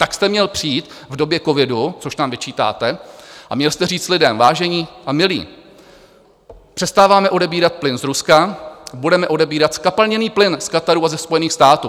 Tak jste měl přijít v době covidu, což nám vyčítáte, a měl jste říct lidem: Vážení a milí, přestáváme odebírat plyn z Ruska, budeme odebírat zkapalněný plyn z Kataru a ze Spojených států.